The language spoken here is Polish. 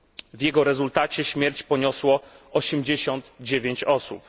W jego rezultacie śmierć poniosło 89 osób.